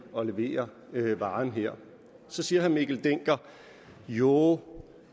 at levere varen her så siger herre mikkel dencker jo